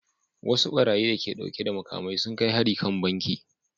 Wasu barayi da ke dauke da makamai sun kai hari kan banki